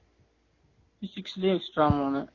physics லையே extra மூணு